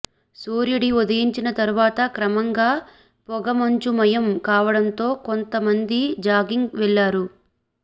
సూర్యుడి ఉదయించిన తర్వాత క్రమంగా పొగమంచుమయం కావడంతో కొంత మంది జాగింగ్ వెళ్లారు